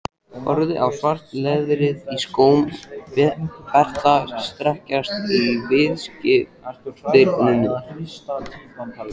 Horfi á svart leðrið í skóm Berta strekkjast í viðspyrnunni.